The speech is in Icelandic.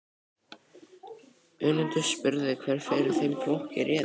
Önundur spurði hver fyrir þeim flokki réði.